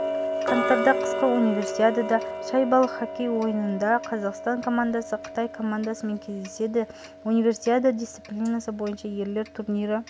қаңтарда қысқы универсиадада шайбалы хоккей ойынында қазақстан командасы қытай командасымен кездеседі универсиада дисциплинасы бойынша ерлер турнирі